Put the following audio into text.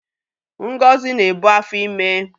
Ngozi na-ebu afọ ime.